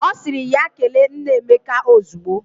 O siri ya kele nna Emeka izugbo.